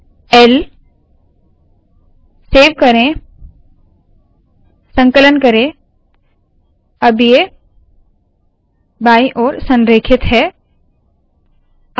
l save करे संकलन करे अब ये बायी ओर संरेखित है